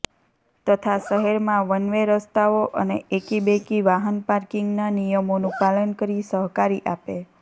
તથા શહેરમાં વનવે રસ્તાઓ અને એકી બેકી વાહન પાર્કીંગના નિયમોનું પાલન કરી સહકારી આપે